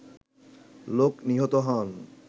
লোক নিহত হন